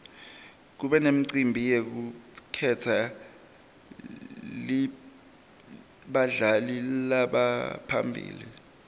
kube nemicimbi yekukhetsa badlali labaphambili